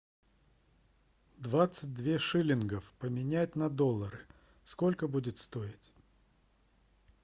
двадцать две шиллингов поменять на доллары сколько будет стоить